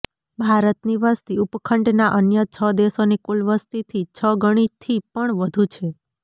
ભારતની વસતી ઉપખંડના અન્ય છ દેશોની કુલ વસતીથી છ ગણીથી પણ વધુ છે